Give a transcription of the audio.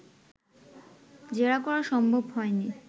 জেরা করা সম্ভব হয়নি